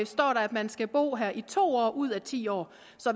står der at man skal bo her i to år ud af ti år